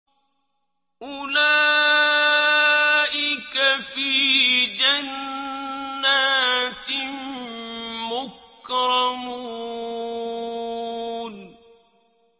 أُولَٰئِكَ فِي جَنَّاتٍ مُّكْرَمُونَ